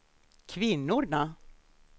kvinnorna